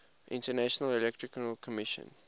international electrotechnical commission